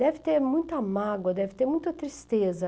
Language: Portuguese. Deve ter muita mágoa, deve ter muita tristeza.